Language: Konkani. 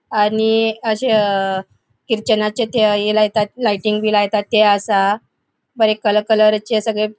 आणि अशे अ ख्रिश्चनाचे थय ये लायतात लाइटिंग बी लायतात ते असा. बरे कलर कलरचे सगळे --